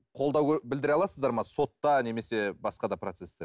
қолдау білдіре аласыздар ма сотта немесе басқа да процесте